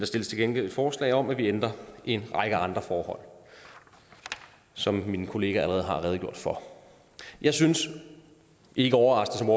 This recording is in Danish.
stilles til gengæld forslag om at vi ændrer en række andre forhold som mine kollegaer allerede har redegjort for jeg synes ikke overraskende